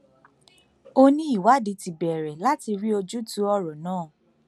ó ní ìwádìí ti bẹrẹ láti rí ojútùú ọrọ náà